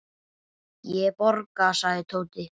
Ég borga, sagði Tóti.